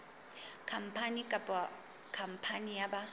khampani kapa khampani ya ba